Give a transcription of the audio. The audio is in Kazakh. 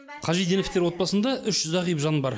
қажиденовтар отбасында үш зағип жан бар